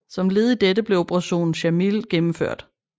Som led i dette blev Operation Sjamil gennemført